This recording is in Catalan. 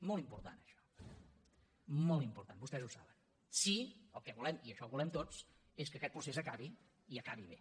molt important això molt important vostès ho saben si el que volem i això ho volem tots és que aquest procés acabi i acabi bé